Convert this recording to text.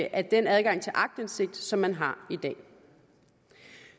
af den adgang til aktindsigt som man har i dag